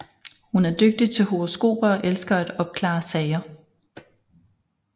Hun er dygtig til horoskoper og elsker at opklare sager